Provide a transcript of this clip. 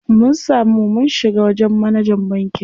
Mun samu mun shiga wajen manajan bankin.